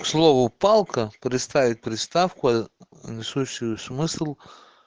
к слову палка приставить приставку несущую смысл